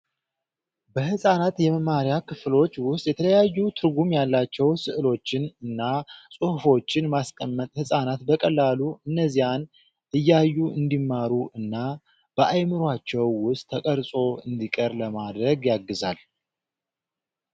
በህፃናት የመማሪያ ክፍሎች ውስጥ የተለያዩ ትርጉም ያላቸው ስዕሎችን እና ፅሁፎችን ማስቀመጥ ህፃናት በቀላሉ እነዚያን እያዩ እንዲማሩ እና በአይምሯቸው ውስጥ ተቀርፆ እንዲቀር ለማድረግ ያግዛሉ።